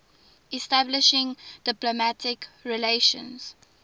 establishing diplomatic relations